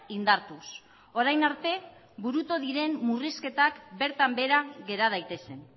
indartuz orain arte burutu diren murrizketak bertan behera gera daitezen